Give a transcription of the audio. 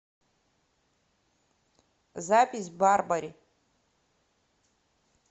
запись барбари